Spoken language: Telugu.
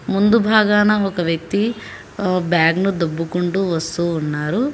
ముందు బాగాన ఒక వ్యక్తి బ్యాగ్ ను దుబ్బుకుంటూ వస్తూ ఉన్నారు.